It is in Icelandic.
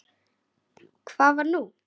Hvað var nú?